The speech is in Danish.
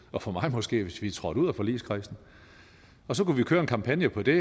og for mig måske hvis vi trådte ud af forligskredsen og så kunne vi køre en kampagne på det